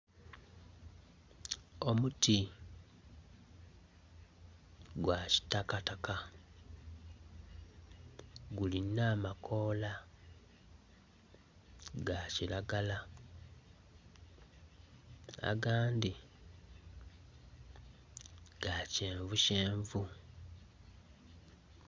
Omuti gwa kitakataka gulina amakoola ga kiragala, agandhi ga kyenvukyenvu.